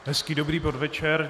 Hezký dobrý podvečer.